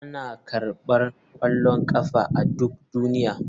Ana karɓar ƙwallon ƙafa a duk duniya.